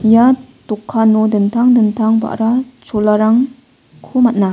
ia dokkano dingtang dingtang ba·ra cholarang ko man·a.